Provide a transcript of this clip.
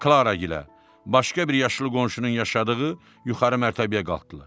Klara gilə, başqa bir yaşlı qonşunun yaşadığı yuxarı mərtəbəyə qalxdılar.